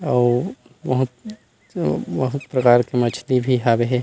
अउ बहुत अम्म अअअ प्रकार मछली भी हावे हे ।